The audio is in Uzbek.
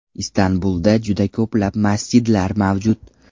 Istanbulda juda ko‘plab masjidlar mavjud.